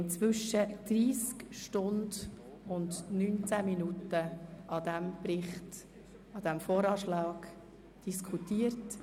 Inzwischen haben wir 30 Stunden und 19 Minuten über den VA diskutiert.